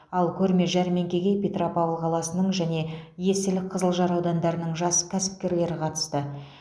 ал көрме жәрмеңкеге петропавл қаласының және есіл қызылжар аудандарының жас кәсіпкерлері қатысты